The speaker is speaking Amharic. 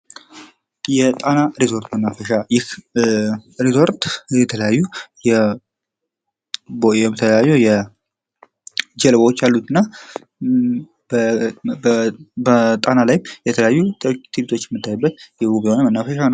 የጣና ሪዞርት መናፈሻ ይህ የጣና ሪዞርት መናፈሻ የተለያዩ ጀልቦች ያሉትና በጣና ላይ ትርዒቶች የምታዩበት የሚገርም መናፈሻ ነው።